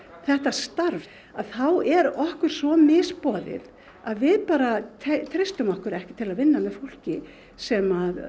þetta starf að þá er okkur svo misboðið að við bara treystum okkur ekki til að vinna með fólki sem